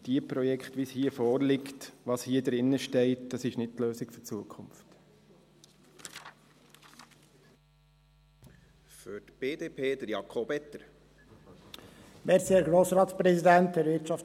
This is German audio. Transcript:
Solche Projekte, wie hier eines vorliegt … Was hier drinsteht, ist nicht die Lösung für die Zukunft.